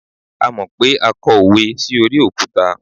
a mọ pé a kọ òwe sí orí òkúta